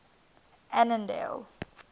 annandale